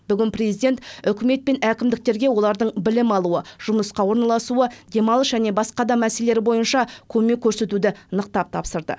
бүгін президент үкімет пен әкімдіктерге олардың білім алуы жұмысқа орналасуы демалыс және басқа да мәселелері бойынша көмек көрсетуді нықтап тапсырды